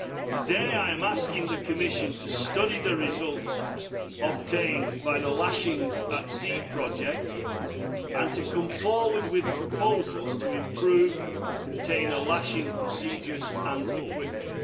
Today I am asking the Commission to study the results obtained by the Lashingsea project and to come forward with proposals to improve container lashing procedures and equipment.